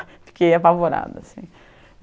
Fiquei apavorada assim.